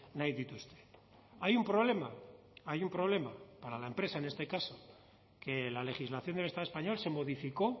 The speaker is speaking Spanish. nahi dituzte hay un problema hay un problema para la empresa en este caso que la legislación del estado español se modificó